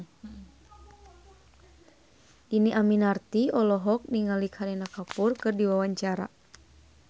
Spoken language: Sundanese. Dhini Aminarti olohok ningali Kareena Kapoor keur diwawancara